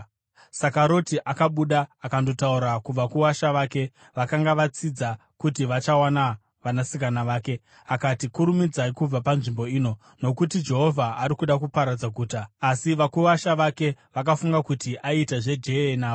Saka Roti akabuda akandotaura kuvakuwasha vake, vakanga vatsidza kuti vachawana vanasikana vake, akati, “Kurumidzai kubva panzvimbo ino, nokuti Jehovha ava kuda kuparadza guta!” Asi vakuwasha vake vakafunga kuti aiita zveje-e navo.